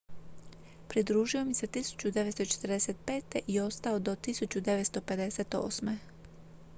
pridružio im se 1945. i ostao do 1958